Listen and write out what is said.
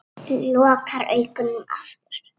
Lokar augunum aftur.